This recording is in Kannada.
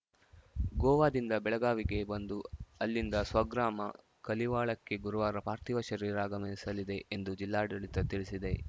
ಗೋವಾದಿಂದ ಬೆಳಗಾವಿಗೆ ಬಂದು ಅಲ್ಲಿಂದ ಸ್ವಗ್ರಾಮ ಕಲಿವಾಳಕ್ಕೆ ಗುರುವಾರ ಪಾರ್ಥಿವ ಶರೀರ ಆಗಮಿಸಲಿದೆ ಎಂದು ಜಿಲ್ಲಾಡಳಿತ ತಿಳಿಸಿದೆ